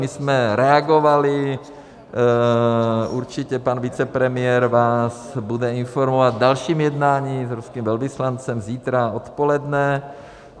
My jsme reagovali, určitě pan vicepremiér vás bude informovat o dalším jednání s ruským velvyslancem zítra odpoledne.